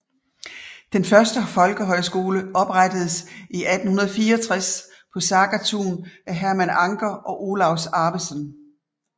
Den første folkehøjskole oprettedes 1864 på Sagatun af Herman Anker og Olaus Arvesen